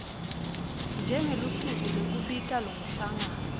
njengelusuku lekubita lomhlangano